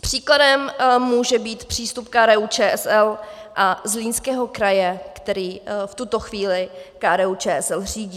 příkladem může být přístup KDU-ČSL a Zlínského kraje, který v tuto chvíli KDU-ČSL řídí.